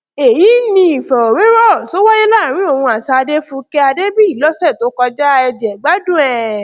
èyí ni ìfọ̀rọ̀wérọ̀ tó wáyé láàrin òun àti adéfúkè adébíyì lọsẹ tó kọjá ẹ jẹ̀gbádùn ẹ̀